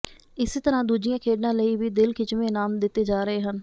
ਇਸੇ ਤਰ੍ਹਾਂ ਦੂਜੀਆਂ ਖੇਡਾਂ ਲਈ ਵੀ ਦਿਲ ਖਿੱਚਵੇਂ ਇਨਾਮ ਦਿੱਤੇ ਜਾ ਰਹੇ ਹਨ